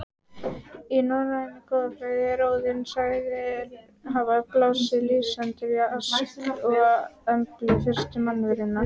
Í norrænni goðafræði er Óðinn sagður hafa blásið lífsanda í Ask og Emblu, fyrstu mannverurnar.